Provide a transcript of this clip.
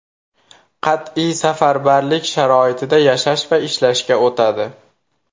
Qat’iy safarbarlik sharoitida yashash va ishlashga o‘tadi.